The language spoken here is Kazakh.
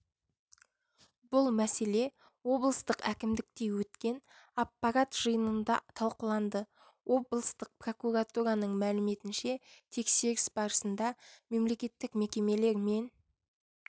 бұл мәселе облыстық әкімдікте өткен аппарат жиынында талқыланды облыстық прокуратураның мәліметінше тексеріс барысында мемлекеттік мекемелер мен